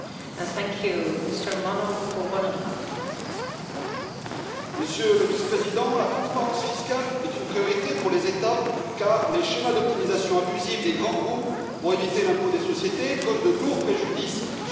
Madame la Présidente, Monsieur le vice président, la transparence fiscale est une priorité pour les États, car les schémas d'optimisation abusive des grands groupes pour éviter l'impôt sur les sociétés causent de lourds préjudices à nos finances publiques.